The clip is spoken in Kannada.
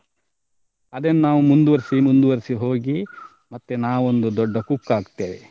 ಅದೇ ನಾವ್ ಮುಂದುವರ್ಸಿ ಮುಂದುವರ್ಸಿ ಹೋಗಿ ಮತ್ತೆ ನಾವೊಂದು ದೊಡ್ಡ cook ಆಗ್ತೇವೆ.